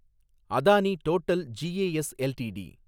Adani total G A S LTD